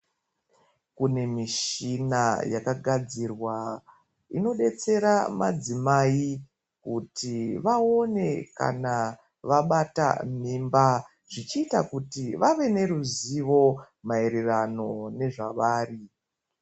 Kune michina yakagazirwa inobetsera madzimai kuti vaone ana vabata mimba zvichiita kuti vave neruzivo mairirano nezvavari.